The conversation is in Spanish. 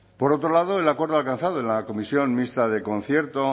por otro lado el acuerdo alcanzado en la comisión mixta del concierto